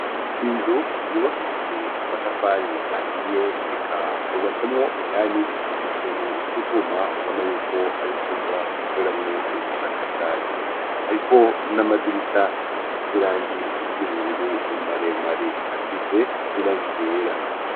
Inzu yubakishije amatafari ahiye eka hubatsemwo indani utuntu tw'utwuma ubona yuko ari icumba bakoreramwo ubushakashatsi, hariko n'amadirisha asize irangi ry'ubururu maremare hasize n'irangi ryera.